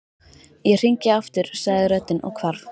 Ég hringi aftur sagði röddin og hvarf.